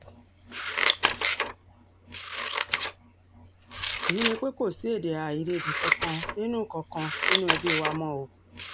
èyíi ni pé kò sí èdè-àìyedè kankan nínú kankan nínú ẹbí wa mọ́ o